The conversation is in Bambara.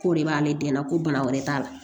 K'o de b'ale den na ko bana wɛrɛ t'a la